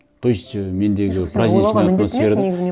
то есть і мендегі праздничная атмосфера